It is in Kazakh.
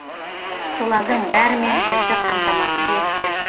солардың бәрімен бізді қамтамасыз етті